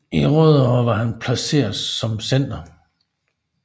I Rødovre var han placeret som center